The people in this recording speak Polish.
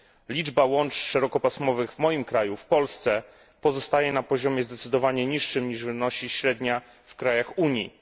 Liczba łączy szerokopasmowych w moim kraju, w Polsce, pozostaje na poziomie zdecydowanie niższym niż średnia w krajach Unii.